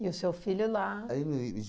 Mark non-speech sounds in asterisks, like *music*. E o seu filho lá? *unintelligible*